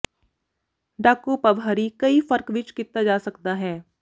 ਡਾਕੂ ਪਵਹਰਾਿਾ ਕਈ ਫਰਕ ਵਿਚ ਕੀਤਾ ਜਾ ਸਕਦਾ ਹੈ